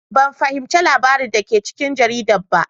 Ban fahimci labaran da ke cikin jarida ba.